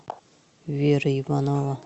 вера иванова